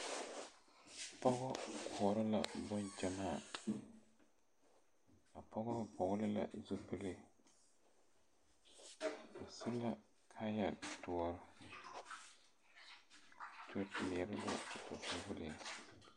Pɔge koɔrɔ la boŋgyamaa a pɔge gbɔgle la zupile o su la kaaya doɔr